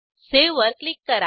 save वर click करा